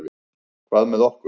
Hvað með okkur?